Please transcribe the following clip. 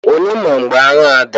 Onye mara mgbe agha a dara?